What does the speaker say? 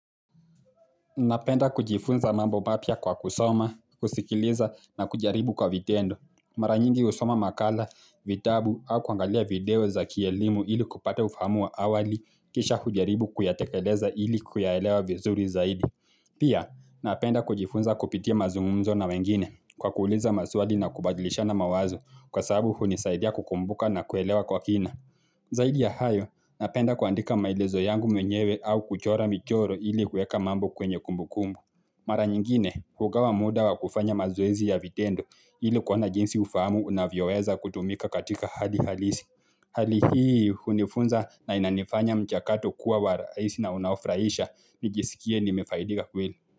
Napenda kujifunza mambo mapya kwa kusoma, kusikiliza na kujaribu kwa vitendo. Mara nyingi husoma makala, vitabu au kuangalia video za kielimu ili kupata ufahamu wa awali kisha kujaribu kuyatekeleza ili kuyaelewa vizuri zaidi. Pia, napenda kujifunza kupitia mazungumzo na wengine kwa kuuliza maswali na kubadilishana mawazo kwa sababu hunisaidia kukumbuka na kuelewa kwa kina. Zaidi ya hayo, napenda kuandika maelezo yangu mwenyewe au kuchora michoro ili kuweka mambo kwenye kumbu kumbu. Mara nyingine, hugawa muda wa kufanya mazoezi ya vitendo ili kuona jinsi ufahamu unavyoweza kutumika katika hali halisi. Hali hii, hunifunza na inanifanya mchakato kuwa wa rahisi na unaofurahisha, nijisikie nimefaidika kweli.